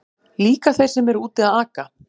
Líka þeir sem eru úti að aka.